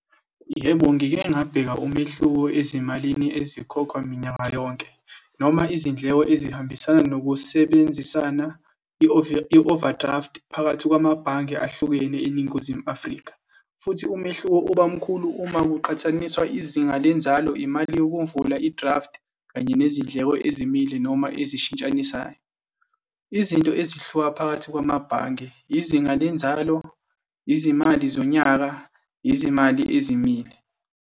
Yebo, ngike ngabheka umehluko ezimalini ezikhokhwa minyaka yonke, noma izindleko ezihambisana nokusebenzisana i-overdraft phakathi kwamabhange ahlukene eNingizimu Afrika, futhi umehluko uba mkhulu uma kuqhathaniswa izinga lenzalo, imali yokumvula i-draft, kanye nezindleko ezimile, noma ezishintshanisayo. Izinto ezihluka phakathi kwamabhange, izinga lenzalo, izimali zonyaka, izimali ezimile.